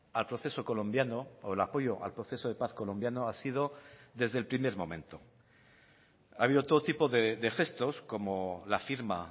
al proceso colombiano o el apoyo al proceso de paz colombiano ha sido desde el primer momento ha habido todo tipo de gestos como la firma